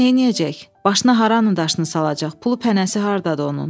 Başına hara anın daşını salacaq, pulu pənəsi hardadı onun?